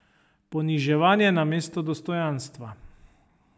Poniževanje namesto dostojanstva.